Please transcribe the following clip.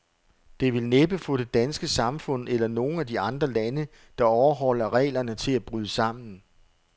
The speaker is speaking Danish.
Det vil næppe få det danske samfund, eller nogen af de andre lande, der overholder reglerne, til at bryde sammen.